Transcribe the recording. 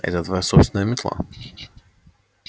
это твоя собственная метла